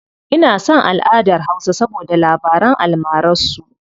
Ina son alʼadar hausa saboda labaran almarar su.